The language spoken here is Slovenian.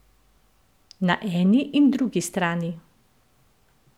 Na eni in drugi strani.